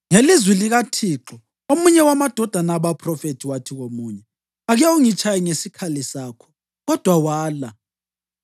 Ngelizwi likaThixo omunye wamadodana abaphrofethi wathi komunye, “Ake ungitshaye ngesikhali sakho,” kodwa wala.